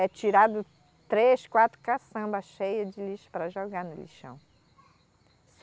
É tirado três, quatro caçambas cheia de lixo para jogar no lixão.